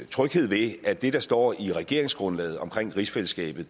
tryghed ved at det der står i regeringsgrundlaget om rigsfællesskabet